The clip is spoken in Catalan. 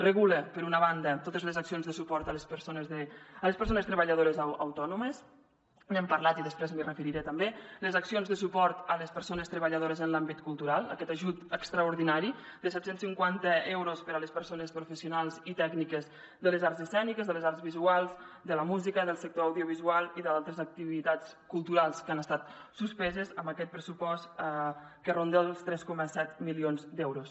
regula per una banda totes les accions de suport a les persones treballadores autònomes n’hem parlat i després m’hi referiré també les accions de suport a les persones treballadores en l’àmbit cultural aquest ajut extraordinari de set cents i cinquanta euros per a les persones professionals i tècniques de les arts escèniques de les arts visuals i de la música del sector audiovisual i d’altres activitats culturals que han estat suspeses amb aquest pressupost que ronda els tres coma set milions d’euros